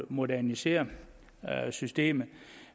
modernisere systemet